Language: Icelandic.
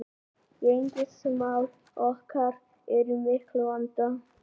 Gengismál okkar eru í miklum vanda